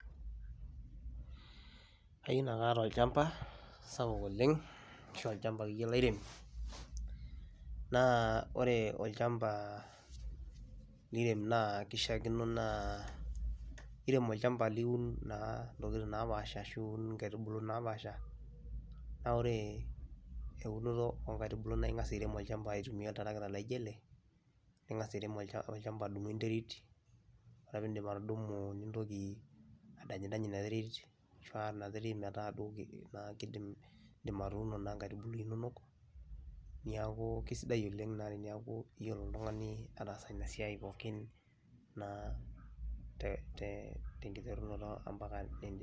I will want to have a big piece of land to do farming. A land that I will plant different crops. I will use this tractor to plough and then plant your seedlings.